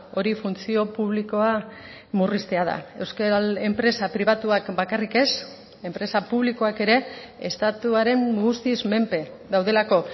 hori funtzio publikoa murriztea da euskal enpresa pribatuak bakarrik ez enpresa publikoak ere estatuaren guztiz menpe daudelako